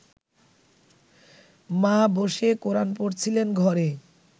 মা বসে কোরান পড়ছিলেন ঘরে